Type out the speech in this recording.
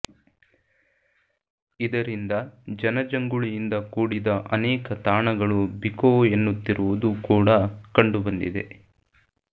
ಇದರಿಂದ ಜನಜಂಗುಳಿಯಿಂದ ಕೂಡಿದ ಅನೇಕ ತಾಣಗಳು ಬಿಕೋ ಎನ್ನುತ್ತಿರುವುದು ಕೂಡ ಕಂಡು ಬಂದಿದೆ